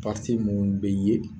mun be ye